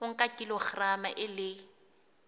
o nka kilograma e le